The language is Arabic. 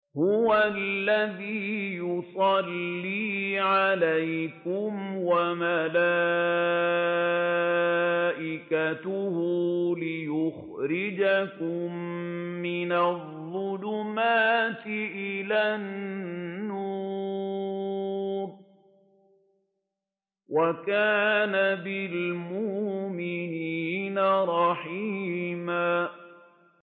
هُوَ الَّذِي يُصَلِّي عَلَيْكُمْ وَمَلَائِكَتُهُ لِيُخْرِجَكُم مِّنَ الظُّلُمَاتِ إِلَى النُّورِ ۚ وَكَانَ بِالْمُؤْمِنِينَ رَحِيمًا